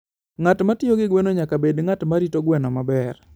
Ng'at ma tiyo gi gweno nyaka bed ng'at ma rito gweno maber.